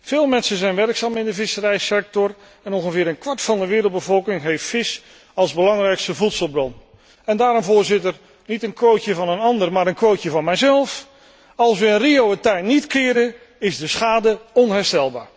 Veel mensen zijn werkzaam in de visserijsector en ongeveer een kwart van de wereldbevolking heeft vis als belangrijkste voedselbron. Daarom, Voorzitter, niet een quotetje van een ander, maar een quotetje van mijzelf als wij in Rio het tij niet keerde, is de schade onherstelbaar.